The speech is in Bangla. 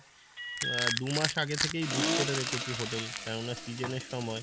আহ দু'মাস আগে থেকে book করে রেখেছি hotel কেন না season এর সময়,